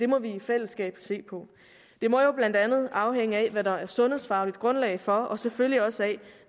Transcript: må vi i fællesskab se på det må jo blandt andet afhænge af hvad der er sundhedsfagligt grundlag for og selvfølgelig også af